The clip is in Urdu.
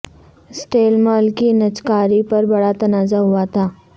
سٹیل مل کی نجکاری پر بڑا تنازعہ ہوا تھا